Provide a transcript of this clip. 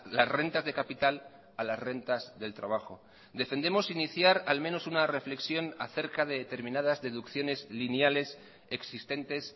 las rentas de capital a las rentas del trabajo defendemos iniciar al menos una reflexión acerca de determinadas deducciones lineales existentes